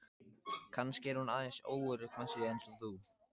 Kannski er hún aðeins óörugg með sig eins og þú.